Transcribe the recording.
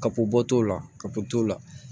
Kappto la kapo t'o la